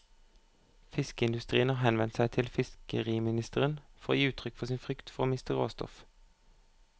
Fiskeindustrien har henvendt seg til fiskeriministeren for å gi uttrykk for sin frykt for å miste råstoff.